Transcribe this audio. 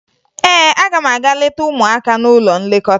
Ee, aga m aga leta ụmụaka n'ụlọ nlekọta